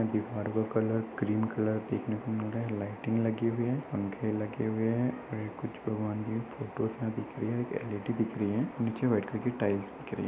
Colour cream colour देखने को मिल रहा है। लाइटिंग लगी हुई है पंखे लगे हुए हैं और कुछ भगवानजी की फोटोस यहाँ दिख रही है एल.इ.डी. दिख रही है निचे एक वाइट कलर की टाइल्स दिख रही है।